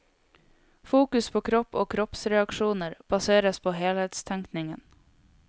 Fokus på kropp og kroppsreaksjoner baseres på helhetstenkningen.